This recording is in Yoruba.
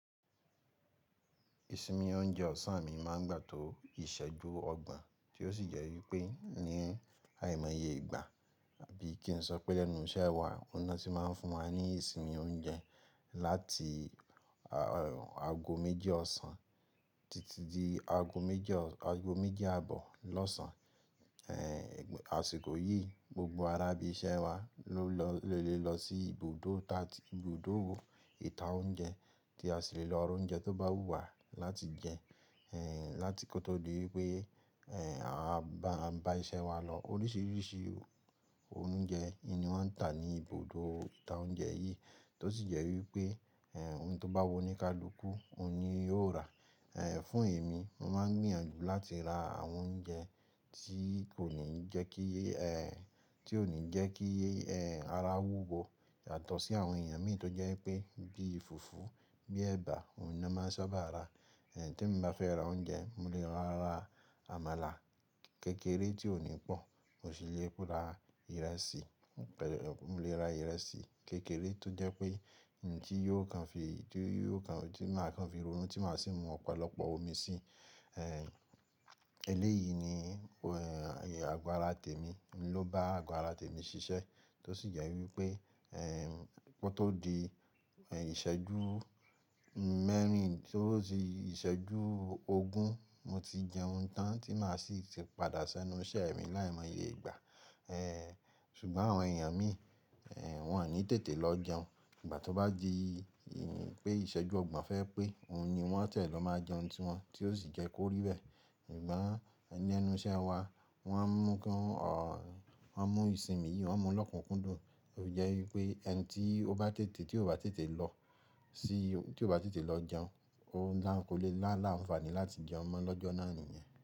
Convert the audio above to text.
Ìsinmi oúnjẹ ọ̀sán mi máa ń gbà tó ìṣẹ́jú ọgbọ̀n, tí ó sì jẹ́ wípé ní àìmọye ìgbà àbí kí n sọ pé lẹ́nu iṣẹ́ wa, ó ná tí máa ń fún wa ní ìsinmi oúnjẹ láti aago méjì ọ̀sán títí di aago méjì, aago méjì àbọ̀ lọ́sàn. Àṣìkò yìí, gbogbo ará ibi iṣẹ́ wa ló lè lọ sí ibùdó ta, ibùdó ìta oúnjẹ tí a sì lè lọ ro oúnjẹ tó bá wù wá láti jẹ, láti kó tó di wípé a bá iṣẹ́ wa lọ. Oríṣìíríṣìí oúnjẹ in ni wọ́n ń tà ní ibùdó ìta oúnjẹ yìí, tó sì jẹ́ wípé ohun tó bá wù oní kálukú, òun ni yóò rà. Fún èmi, mo máa ń gbìyànjú láti ra àwọn oúnjẹ tí kò ní jẹ́ kí, tí ò ní jẹ́ kí ara wúwo yàtọ̀ sí àwọn èèyàn mi tó jẹ́ pé bí i fùfú, bíi ẹ̀bà, òun ni wọ́n máa ń sábà ra. Tí mo bá fẹ́ ra oúnjẹ, mo lè lọ ra àmàlà kékeré tí ò ní pọ̀, mo sì le pe ra ìrẹsì, mo lè ra ìrẹsì kékeré tó jẹ́ pé nǹkan tí yóò máa kan fi ronú tí màá sì mu ọ̀pọ̀lọpọ̀ omi sí. Eléyìí ni àgọ́ ara tèmi, mo ló bá àgọ́ ara tèmi ṣiṣẹ́ tó sì jẹ́ wípé kó tó di ìṣẹ́jú mẹ́rin tótí ìṣẹ́jú ogún, mo ti jẹ ohun tán tí màá sì padà sẹ́nu iṣẹ́ mi láìmọye ìgbà. Ṣùgbọ́n àwọn èèyàn mi, wọ́n ò ní tètè lọ jẹun. Ìgbà tí ó bá di pé ìṣẹ́jú ọgbọ̀n fẹ́ pé, òun ni wọ́n tẹ̀ lọ máa jẹ ohun tí wọn, tí ó sì jẹ́ kó rí bẹ́ẹ̀. Ṣùgbọ́n ní ẹnu iṣẹ́ wa, wọ́n mú ń kan, wọ́n mú ìsinmi yìí, wọ́n mú lọ́kùnkúndùn, ó jẹ́ wípé ẹni tí ó bá tètè, tí ò bá tètè lọ sí, tí ò bá tètè lọ jẹun, ó dáńko lé láàlá òǹfàní láti jẹun mọ́ lọ́jọ́ náà nìyẹn.